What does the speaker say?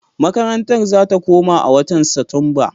Makarantar za ta koma a watan Satumba.